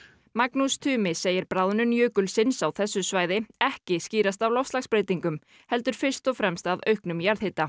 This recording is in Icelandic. Magnús Tumi segir bráðnun jökulsins á þessu svæði ekki skýrast af loftslagsbreytingum heldur fyrst og fremst af auknum jarðhita